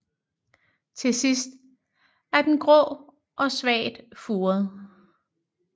Til sidst er den grå og svagt furet